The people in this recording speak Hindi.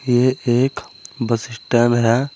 ये एक बस स्टैंड है।